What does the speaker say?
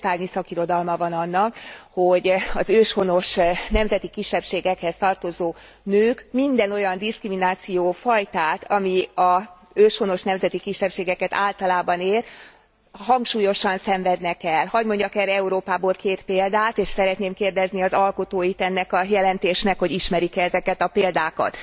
Könyvtárnyi szakirodalma van annak, hogy az őshonos nemzeti kisebbségekhez tartozó nők minden olyan diszkriminációfajtát, ami az őshonos nemzeti kisebbségeket általában ér, hangsúlyosan szenvednek el. Hadd mondjak erre Európából két példát, és szeretném kérdezni az alkotóit ennek a jelentésnek, hogy ismerik e ezeket a példákat.